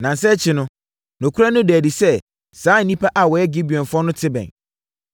Nnansa akyi no, nokorɛ no daa adi sɛ saa nnipa a wɔyɛ Gibeonfoɔ no te bɛn.